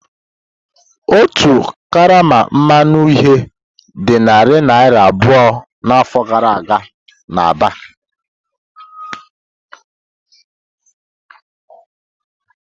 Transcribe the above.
Otu karama mmanụ uhie dị narị naira abụọ n'afọ gara aga n'Aba.